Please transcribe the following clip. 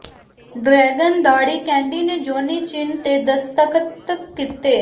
dragon ਦਾੜੀ candy ਨੇ Johnny Chin ਤੇ ਦਸਤਖਤ ਕੀਤੇ